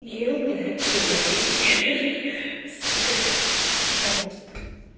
и у меня сука на русском